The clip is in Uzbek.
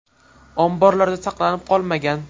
Omborlarda saqlanib qolmagan.